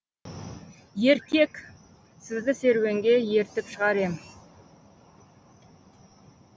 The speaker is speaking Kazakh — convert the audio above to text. еркек сізді серуенге ертіп шығар ем